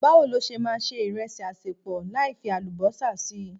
Bawo lo ṣe máa se ìrẹsì asepo láì fi Àlùbọ́sà si?